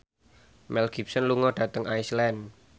Mel Gibson lunga dhateng Iceland